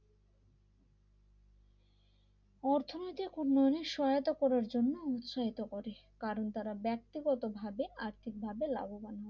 অর্থনৈতিক উন্নয়নের সহায়তা করার জন্য উৎসাহিত করে কারণ তারা ব্যক্তিগতভাবে আর্থিকভাবে লাভবান হন